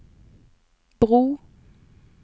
bro